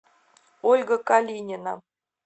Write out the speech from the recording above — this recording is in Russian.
ольга калинина